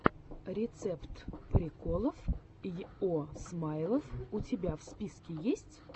рецепт приколов йо смайл у тебя в списке есть